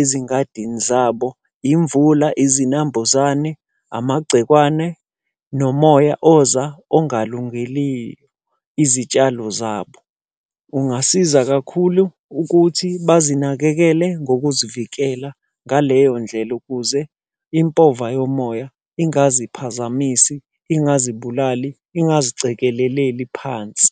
ezingadini zabo. Imvula, izinambuzane, amagcekwane, nomoya oza ongalungeli izitshalo zabo. Ungasiza kakhulu ukuthi bazinakekele ngokuzivikela ngaleyo ndlela ukuze impova yomoya ingaziphazamisi, ingazibulali, ingazicekeleleli phansi.